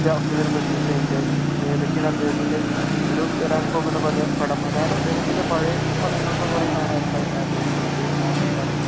ഏറ്റവും വലിയ പ്രതീക്ഷ എന്റെ പിന്നെ ഏതൊക്കെയാണ് അദ്ദേഹത്തിന്റെ ഒരു വരാൻ പോകുന്ന പടം റമദാൻ അദ്ദേഹത്തിന്റെ പഴയ പടങ്ങൾ ഒക്കെ കുറെ കാണാറുണ്ടോ